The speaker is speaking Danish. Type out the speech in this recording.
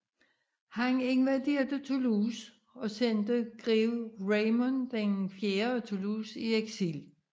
Han invaderede Toulouse og sendte grev Raymond IV af Toulouse i eksil